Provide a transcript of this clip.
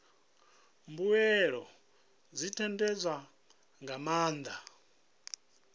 mbuelo dzi ṋetshedzwa nga maanḓa